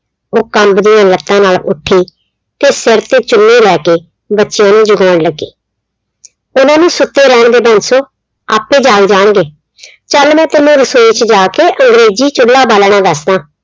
ਉਹ ਕੰਬਦੀਆਂ ਲੱਤਾਂ ਨਾਲ ਉੱਠੀ ਤੇ ਸਿਰ ਤੇ ਚੁੰਨੀ ਲੈ ਕੇ ਬੱਚਿਆਂ ਨੂੰ ਜਗਾਉਣ ਲੱਗੀ ਉਹਨਾਂ ਨੂੰ ਸੁੱਤੇ ਰਹਿਣ ਦੇ ਬੰਸੋ ਆਪੇ ਜਾਗ ਜਾਣਗੇ ਚੱਲ ਮੈਂ ਤੈਨੂੰ ਰਸੋਈ ਚ ਜਾਕੇ ਅੰਗਰੇਜ਼ੀ ਚੁੱਲਾ ਬਾਲਣਾ ਦੱਸਦਾਂ